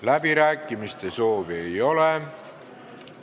Läbirääkimiste soovi ei ole.